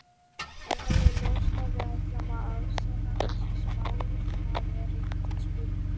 Það er alveg ljóst að við ætlum að afsanna þessa spá, það er engin spurning.